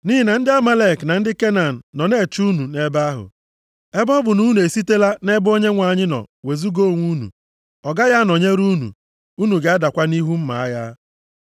Nʼihi na ndị Amalek na ndị Kenan nọ na-eche unu nʼebe ahụ! Ebe ọ bụ na unu esitela nʼebe Onyenwe anyị nọ wezuga onwe unu, ọ gaghị anọnyere unu, unu ga-adakwa nʼihu mma agha.”